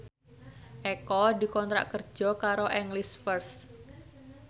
Eko dikontrak kerja karo English First